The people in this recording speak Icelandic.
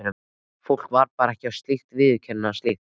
Fólk á bara ekki að viðurkenna slíkt.